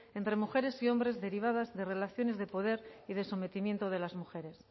entre mujeres y hombres derivadas de relaciones de poder y de sometimiento de las mujeres